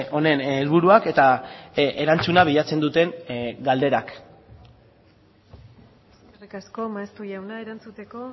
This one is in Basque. honen helburuak eta erantzuna bilatzen duten galderak eskerrik asko maeztu jauna erantzuteko